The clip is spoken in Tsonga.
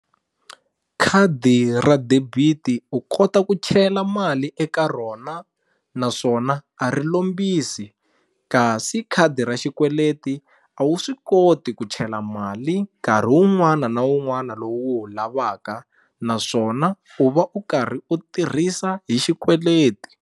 Khadi ra debit u kota ku chela mali eka rona naswona a ri lombisi kasi khadi ra xikweleti a wu swi koti ku chela mali nkarhi wun'wana na wun'wana lowu u wu lavaka naswona u va u karhi u tirhisa hi xikweleti.